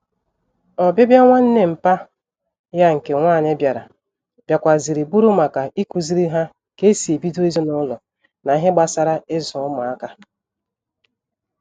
Obibia nwanne mpa ya nke nwanyi biara, biakwara ziri buru maka ikuziri ha ka esi ebido ezinulo na ihe gbasara izu umuaka